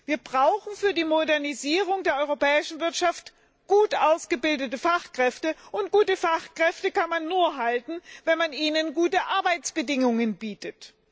Wir brauchen für die Modernisierung der europäischen Wirtschaft gut ausgebildete Fachkräfte, und gute Fachkräfte kann man nur halten, wenn man ihnen gute Arbeitsbedingungen bietet.